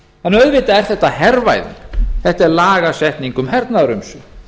skoðað auðvitað er þetta hervæðing þetta er lagasetning um hernaðarumsvif